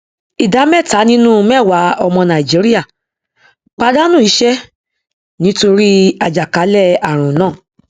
ìdá mẹta nínú mẹwàá ọmọ nàìjíríà pàdánù iṣẹ nítorí àjàkálẹ ààrùn náà